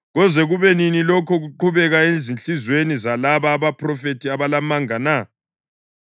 Koze kube nini lokhu kuqhubeka ezinhliziyweni zalaba abaphrofethi abalamanga na?